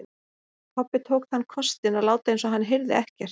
Kobbi tók þann kostinn að láta eins og hann heyrði ekkert.